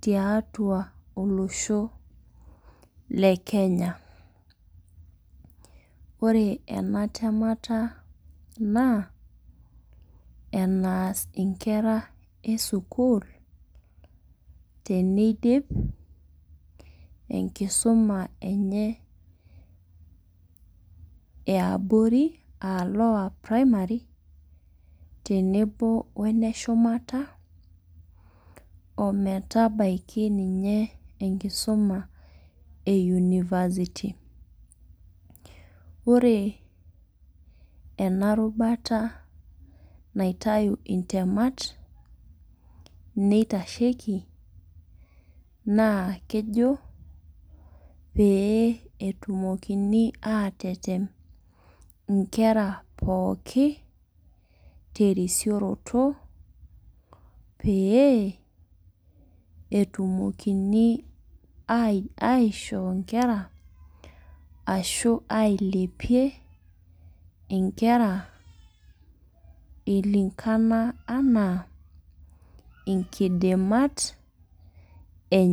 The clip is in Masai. tiatua olosho le Kenya. Ore ena temat naa enas inkera esukul teneidip enkisuma enye eabore aa lower primary tenebo wee neshumata oo metabaki ninye enkisuma ee university. Ore ena rubata naitayu intemat nitasheki naa kejo pee etumokini atetem inkera pookin terisioroto pee etumokini aisho inkera ashu ailepie inkera ilinkana anaa inkidimat enye.